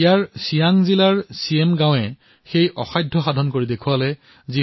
তাৰে ছিয়াং জিলাৰ মিৰেম গাঁৱে এক অদ্ভুত কাম কৰি দেখুৱালে